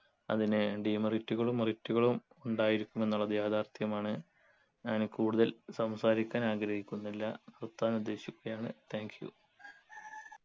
അതിനു demerit കളും merit കളും ഉണ്ടായിരിക്കുമെന്നുള്ളത് യാഥാർഥ്യമാണ് ഞാൻ കൂടുതൽ സംസാരിക്കാൻ ആഗ്രഹിക്കുന്നില്ല നിർത്താനുദ്ദേശിക്കുകയാണ് thank you